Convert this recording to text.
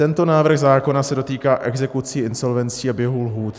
Tento návrh zákona se dotýká exekucí, insolvencí a běhu lhůt.